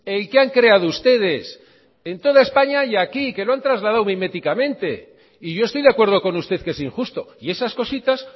el que han creado ustedes en toda españa y aquí que lo han trasladado miméticamente y yo estoy de acuerdo con usted que es injusto y esas cositas